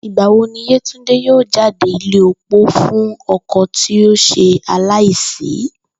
Ìgbà wo ni Yétúndé yóò jáde ilé opó fún o̩kò̩ tí ó s̩e aláìsí?